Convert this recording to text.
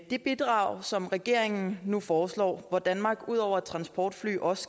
det bidrag som regeringen nu foreslår hvor danmark ud over et transportfly også